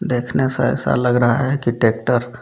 देखने से ऐसा लग रहा है कि टेक्टर --